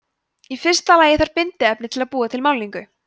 í fyrsta lagi þarf bindiefni til að búa til málningu